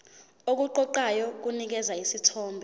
okuqoqayo kunikeza isithombe